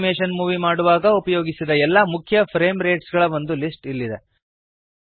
animation movie ಮಾಡುವಾಗ ಉಪಯೋಗಿಸಿದ ಎಲ್ಲ ಮುಖ್ಯ ಫ್ರೇಮ್ ರೇಟ್ಸ್ ಗಳ ಒಂದು ಲಿಸ್ಟ್ ಇಲ್ಲಿದೆ